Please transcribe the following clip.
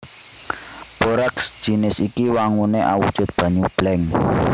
Boraks jinis iki wanguné awujud banyu bleng